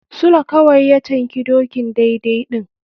Sule kawai ya canki dokin daidai ɗin.